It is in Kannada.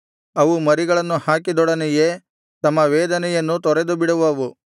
ಅವು ಮರಿಗಳನ್ನು ಹಾಕಿದೊಡನೆಯೇ ತಮ್ಮ ವೇದನೆಯನ್ನೂ ತೊರೆದುಬಿಡುವವು